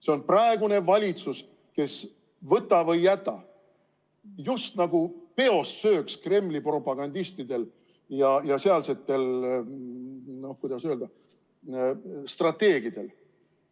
See on praegune valitsus, kes, võta või jäta, just nagu peost sööks Kremli propagandistidel ja sealsetel, kuidas öelda, strateegidel.